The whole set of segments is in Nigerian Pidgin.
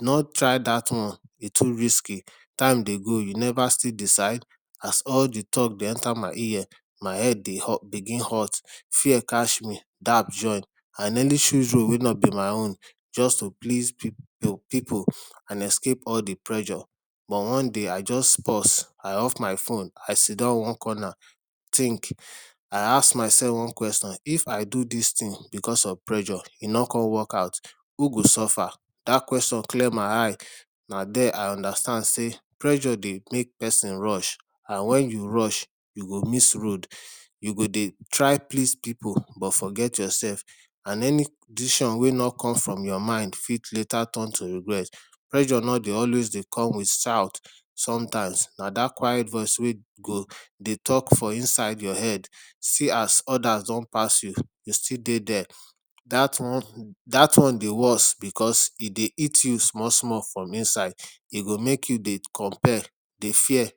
No try dat one, e too risky. Time dey go you neva still decide? As all de talk dey enter my ear, my head dey hot begin hot. Fear catch me, dap join. I nearly choose road wey no be my own just to please pipu and escape all de pressure but one day I just pause, I off my phone. I sidon one corner think I ask mysef one question, if I do dis tin becos of pressure, e no con workout, who go suffer? Dat question clear my eye, na there I understand sey pressure dey make person rush and wen you rush, you go miss road you go dey try please pipu but forget yoursef and any decision wey no come from your mind fit later turn to regret. Pressure no dey always dey come with shout, sometimes na dat quiet voice wey go dey talk for inside your head see as others don pass you, you still dey there dat one dat one dey worse becos e dey eat you small small from inside. E go make you dey compare dey fear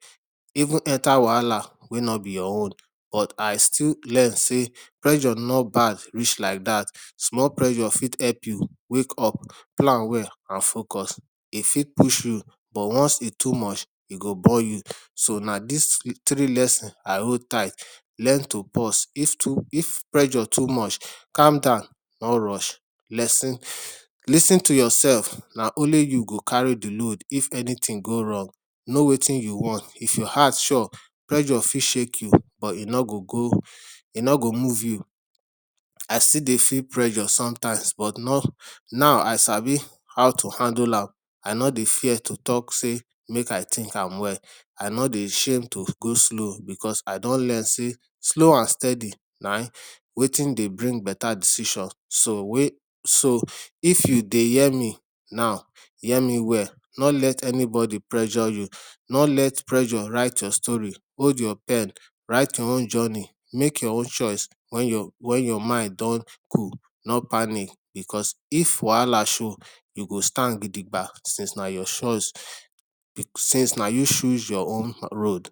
even enter wahala wey no be your own but I still learn sey pressure no bad reach like dat. Small pressure fit help you wake up, plan well and focus. E fit push you but once e too much, e go bore you. So na dis three lesson I hold tight, learn to pause. if too if pressure too much, calm down no rush lis ten lis ten to yourself. Na only you go carry de load if anything go wrong. Know wetin you want. If your heart sure, pressure fit shake you but e no go go, e no go move you. I still dey feel pressure sometimes but not, now I sabi how to handle am. I no dey fear to talk sey make I think am well. I no dey shame to go slow becos I don learn sey slow and steady na wetin dey bring beta decision so so if you dey hear me, now, hear me well. No let any bodi pressure you. No let pressure write your story, hold your pen write your own journey, make your own choice wen your wen your mind don cool. No panic becos if wahala show you go stand gidigba since na your choice since na you choose your own road.